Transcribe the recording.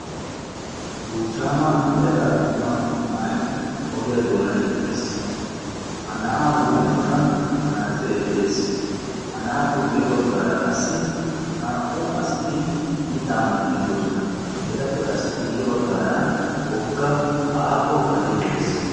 Buchchama yelaga attuma na'ay ogiyaa doonan eqqiis; ha na'aa huuphiyaankk manatsire de'ees; ha na'aappe guyye baggara naa"u asati mitta maxide de'oosona; etappe qassi guyye baggara wolqqama aaho gade de'ees.